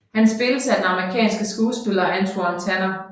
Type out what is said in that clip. Han spilles af den amerikanske skuespiller Antwon Tanner